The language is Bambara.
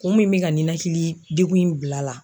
Kun min me ka ninakili degun in bil' a la